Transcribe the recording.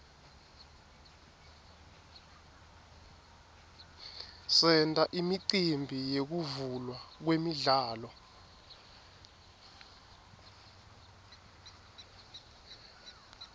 senta imicimbi yekuvulwa kwemidlalo